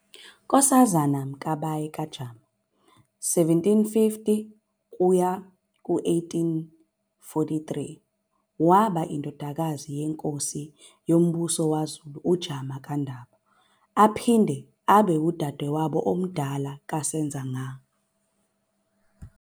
Nkosazana Mkabayi kaJama, 1750-1843, wabe eyindodakazi yenkosi yombuso wamaZulu uJama kaNdaba, aphinde abe ngudadewabo omdala kaSenzanga